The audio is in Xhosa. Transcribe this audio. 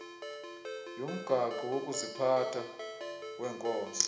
yomgaqo wokuziphatha wenkonzo